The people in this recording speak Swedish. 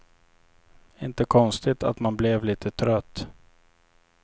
Inte konstigt att man blev lite trött.